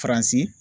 Faransi